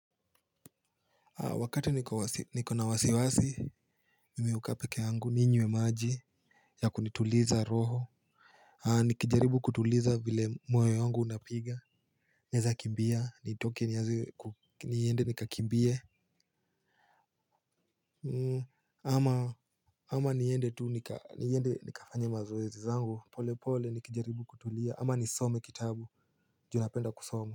Wakati niko na wasiwasi mimi hukaa peke yangu ninywe maji yakunituliza roho nikijaribu kutuliza vile moyo wangu unapiga naweza kukimbia nitoke niende nikakimbie ama niende tu nika niende nikafanye mazoezi yangu pole pole nikijaribu kutulia ama nisome kitabu juu napenda kusoma.